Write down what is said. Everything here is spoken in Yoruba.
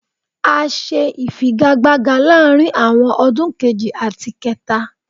A ṣe ifigagbaga láàárín àwọn ọdún kejì àti kẹta.